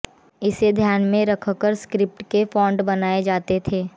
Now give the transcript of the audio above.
इसे ध्यान में रखकर स्क्रिप्ट्स के फॉन्ट बनाए जाते थे